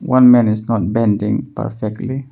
One man is not bending perfectly.